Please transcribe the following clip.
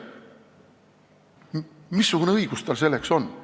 Missugune õigus tal selleks on?